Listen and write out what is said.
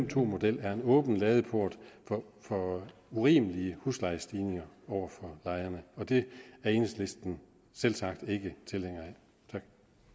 to model er en åben ladeport for urimelige huslejestigninger over for lejerne og det er enhedslisten selvsagt ikke tilhængere af tak